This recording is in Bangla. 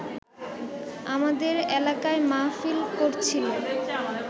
আমাদের এলাকায় মাহফিল করছিল